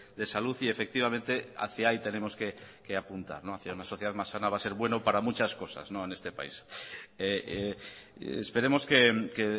de salud y efectivamente hacia ahí tenemos que apuntar hacia una sociedad más sana va a ser bueno para muchas cosas en este país esperemos que